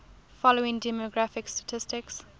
following demographic statistics